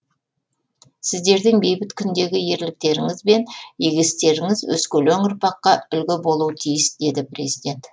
сіздердің бейбіт күндегі ерліктеріңіз бен игі істеріңіз өскелең ұрпаққа үлгі болуы тиіс деді президент